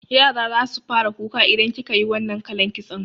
Yara zasu fara kuka idan kikayi wannan kalan kitson